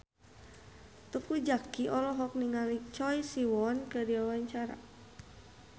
Teuku Zacky olohok ningali Choi Siwon keur diwawancara